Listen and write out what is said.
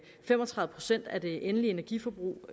fem og tredive procent af det endelige energiforbrug